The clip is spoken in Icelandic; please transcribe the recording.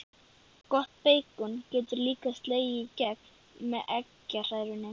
Gott beikon getur líka slegið í gegn með eggjahrærunni.